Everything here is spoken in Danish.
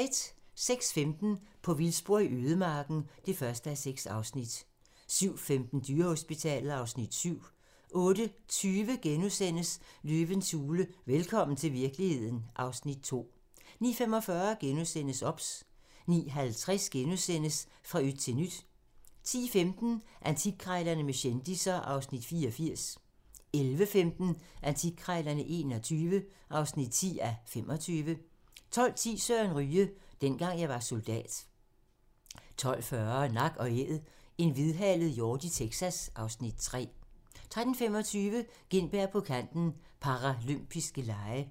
06:15: På vildspor i ødemarken (1:6) 07:15: Dyrehospitalet (Afs. 7) 08:20: Løvens hule – velkommen til virkeligheden (Afs. 2)* 09:45: OBS * 09:50: Fra yt til nyt * 10:15: Antikkrejlerne med kendisser (Afs. 84) 11:15: Antikkrejlerne XXI (10:25) 12:10: Søren Ryge: Dengang jeg var soldat 12:40: Nak & æd - en hvidhalet hjort i Texas (Afs. 3) 13:25: Gintberg på Kanten - Paralympiske Lege